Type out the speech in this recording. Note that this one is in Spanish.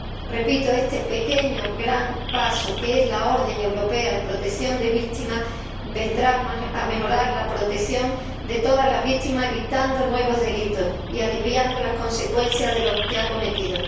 Repito, este pequeño gran paso que es la orden europea de protección de víctimas vendrá a mejorar la protección de todas las víctimas, evitando nuevos delitos y aliviando las consecuencias de los ya cometidos.